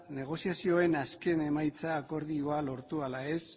negoziazioen azken emaitza akordioa lortu ala ez